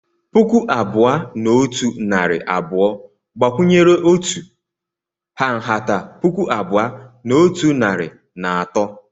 Puku abụọ na otu narị abụọ gbakwunyere otu ha nhata puku abụọ na otu narị na atọ.